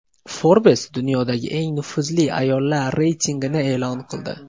Forbes dunyodagi eng nufuzli ayollar reytingini e’lon qildi.